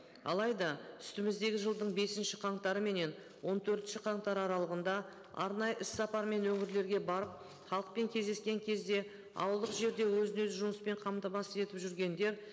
алайда үстіміздегі жылдың бесінші қаңтары менен он төртінші қаңтар аралығында арнайы іс сапарымен өңірлерге барып халықпен кездескен кезде ауылдық жерде өзін өзі жұмыспен қамтамасыз етіп жүргендер